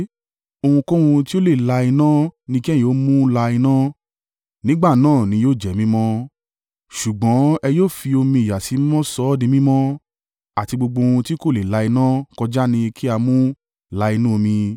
Ohunkóhun tí ó lè la iná ni kí ẹ̀yin ó mú la iná, nígbà náà ni yóò jẹ́ mímọ́. Ṣùgbọ́n ẹ yóò fi omi ìyàsímímọ́ sọ ọ́ di mímọ́. Àti gbogbo ohun tí kò lè la iná kọjá ni kí a mú la inú omi.